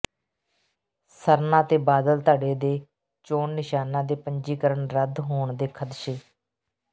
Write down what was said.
ਸਰਨਾ ਤੇ ਬਾਦਲ ਧੜੇ ਦੇ ਚੋਣ ਨਿਸ਼ਾਨਾਂ ਦੇ ਪੰਜੀਕਰਨ ਰੱਦ ਹੋਣ ਦੇ ਖਦਸ਼ੇ